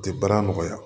Tɛ baara nɔgɔya